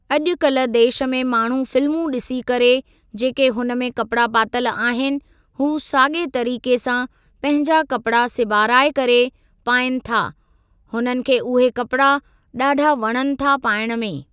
अॼुकल्ह देश में माण्हू फिल्मूं ॾिसी करे जेके हुन में कपिड़ा पातल आहिनि हू साॻिए तरीक़े सां पंहिंजा कपिड़ा सिबाराए करे पाइनि था हुननि खे उहे कपिड़ा ॾाढा वणनि था पाइण में।